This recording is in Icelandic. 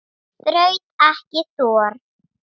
Er mjólk holl?